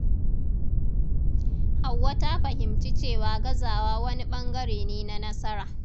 Hauwa ta fahimci cewa gazawa wani ɓangare ne na nasara.